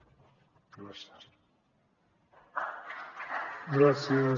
gràcies